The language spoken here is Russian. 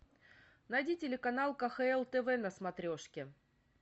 найди телеканал кхл тв на смотрешке